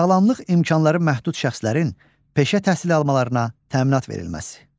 Sağlamlıq imkanları məhdud şəxslərin peşə təhsili almalarına təminat verilməsi.